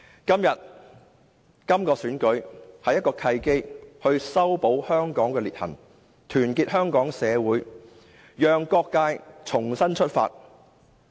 今次特首選舉是修補香港的裂痕、團結香港社會的契機，讓各界重新出發。